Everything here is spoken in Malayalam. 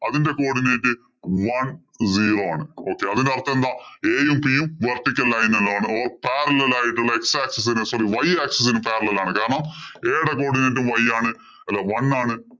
അതിന്‍റെ coodinate zone zero ആണ്. Okay അതിന്‍റെ അര്‍ത്ഥം എന്താ? a യും, p യും vertical line ഇലാണ്. O parallel ആയിട്ടുള്ള x axis ന് sorry y axis ഇന് parallel ആണ്. കാരണം, a യുടെ coodinate y ആണ്. അല്ല one ആണ്.